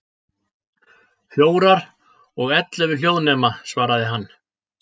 Fjórar, og ellefu hljóðnema, svaraði hann.